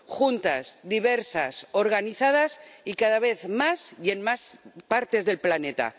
Juntas, diversas, organizadas y cada vez más y en más partes del planeta.